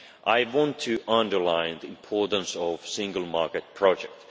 I want to underline the importance of the single market project.